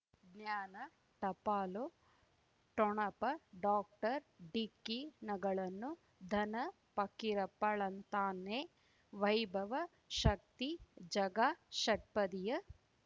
ಜ್ಞಾನ ಟಪಾಲು ಠೊಣಪ ಡಾಕ್ಟರ್ ಢಿಕ್ಕಿ ಣಗಳನು ಧನ ಫಕೀರಪ್ಪ ಳಂತಾನೆ ವೈಭವ್ ಶಕ್ತಿ ಝಗಾ ಷಟ್ಪದಿಯ